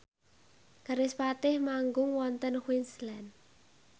kerispatih manggung wonten Queensland